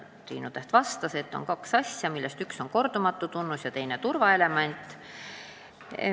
Triinu Täht vastas, et tõesti on kaks asja: üks on kordumatu tunnus ja teine turvaelement.